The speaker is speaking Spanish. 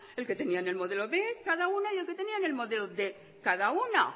el que tenían en el modelo b cada una y el que tenían en el modelo quinientos cada una